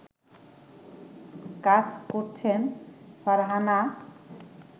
কাজ করছেন ফারহানা